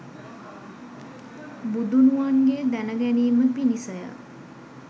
බුදුනුවන්ගේ දැන ගැනීම පිණිස ය.